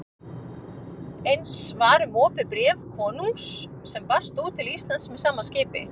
Eins var um opið bréf konungs sem barst út til Íslands með sama skipi.